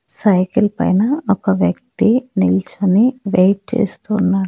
Cycle పైన ఒక వ్యక్తి నిల్చోని వెయిట్ చేస్తూ ఉన్నారు.